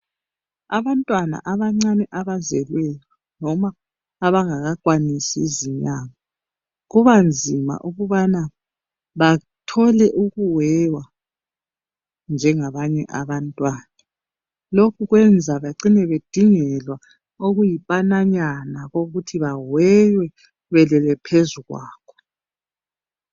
Abantwana abancane abazelweyo noma abangakwanisi izinyanga kuba nzima ukubana bathole ukuweywa njengabanye abantwana. Lokhu kwenza becine bedingelwa okuyipananya kokuthi baweywe belele phezu kwakho.